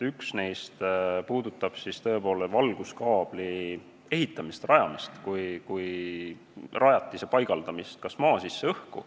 Üks neist puudutab tõepoolest valguskaabli kui rajatise ehitamist ja rajamist, paigaldamist kas maa sisse või õhku.